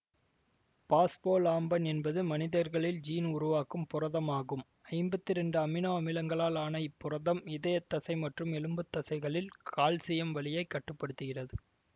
phospholamban என்பது மனிதர்களில் gene உருவாக்கும் புரதம் ஆகும் ஐம்பத்தி இரண்டு அமினோ அமிலங்களால் ஆன இப்புரதம் இதய தசை மற்றும் எலும்புத்தசைகளில் கால்சியம் வழியை கட்டு படுத்துகிறது